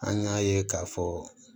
An y'a ye k'a fɔ